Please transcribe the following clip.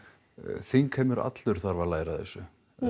þingheimur allur þarf að læra af þessu